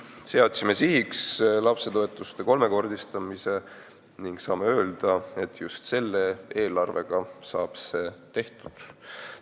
Seadsime sihiks lapsetoetuse kolmekordistamise ning saame öelda, et just selle eelarvega saab see tehtud.